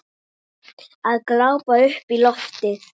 Að glápa upp í loftið.